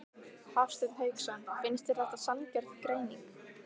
Hafsteinn Hauksson: Finnst þér þetta sanngjörn greining?